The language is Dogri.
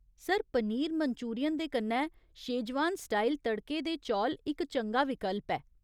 सर, पनीर मंचूरियन दे कन्नै शेजवान स्टाइल तड़के दे चौल इक चंगा विकल्प ऐ।